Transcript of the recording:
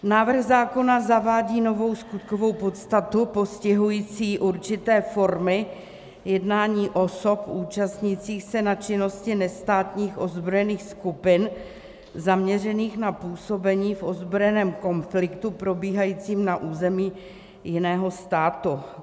Návrh zákona zavádí novou skutkovou podstatu postihující určité formy jednání osob účastnících se na činnosti nestátních ozbrojených skupin zaměřených na působení v ozbrojeném konfliktu probíhajícím na území jiného státu.